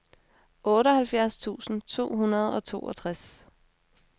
otteoghalvfjerds tusind to hundrede og toogtres